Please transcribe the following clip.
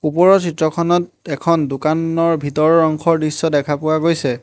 ওপৰৰ চিত্ৰখনত এখন দোকানৰ ভিতৰৰ অংশৰ দৃশ্য দেখা পোৱা গৈছে।